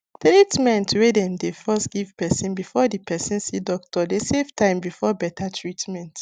treatmrnt wey dem dey first give person befor the person see doctor dey save time before better treatment